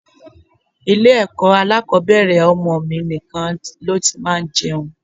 Ilé ẹ̀kọ́ alákòbẹ̀rẹ̀ ọmọ mi nìkan ló ti máa ń jẹun.